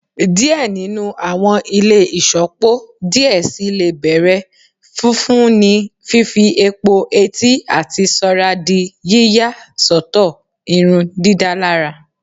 Diẹ ninu awọn ile iṣọpọ diẹ sii le bẹrẹ fifun ni fifi epo-eti ati soradi yiya sọtọ irundidalara